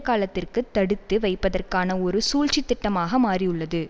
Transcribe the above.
காலத்துக்கு தடுத்து வைப்பதற்கான ஒரு சூழ்ச்சி திட்டமாக மாறியுள்ளது